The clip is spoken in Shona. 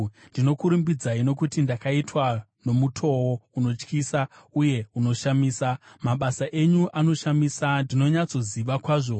Ndinokurumbidzai nokuti ndakaitwa nomutoo unotyisa uye unoshamisa; mabasa enyu anoshamisa, ndinonyatsozviziva kwazvo.